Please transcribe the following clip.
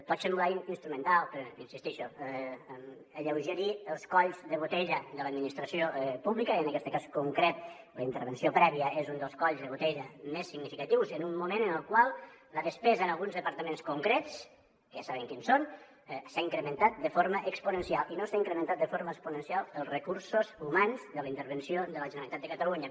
pot semblar instrumental però insisteixo alleugerir els colls de botella de l’administració pública i en aquest cas concret la intervenció prèvia és un dels coll de botella més significatius en un moment en el qual la despesa en alguns departaments concrets que ja sabem quins són s’ha incrementat de forma exponencial i no s’han incrementat de forma exponencial els recursos humans de la intervenció de la generalitat de catalunya